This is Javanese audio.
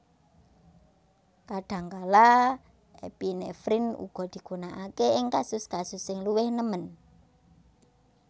Kadhangkala epinefrin uga digunakake ing kasus kasus sing luwih nemen